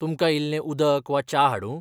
तुमकां इल्लें उदक वा च्या हाडूं ?